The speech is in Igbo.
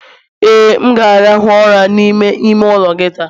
Ee, m ga-arahụ ụra n'ime ime ụlọ gị taa.